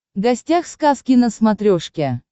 гостях сказки на смотрешке